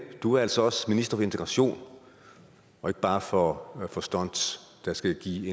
du er altså også minister for integration og ikke bare for for stunts der skal give